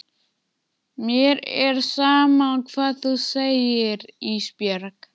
Mér er sama hvað þú segir Ísbjörg.